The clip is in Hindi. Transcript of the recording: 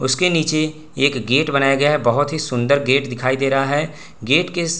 उसके नीचे एक गेट बनाया गया है बहोत ही सुन्दर गेट दिखाई दे रहा है गेट के --